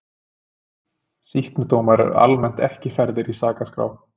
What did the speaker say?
sýknudómar eru almennt ekki færðir í sakaskrá